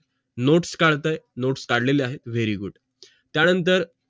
notes काढत आहे notes काढलेले आहेत very good त्यानंतर